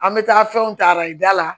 An bɛ taa fɛnw ta arajo da la